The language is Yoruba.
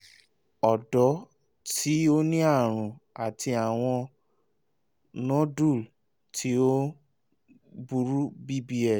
ọdọ ti o ni arun ati awọn nodule ti o o buru bbl